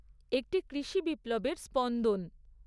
একটি কৃষি বিপ্লবের স্পন্দন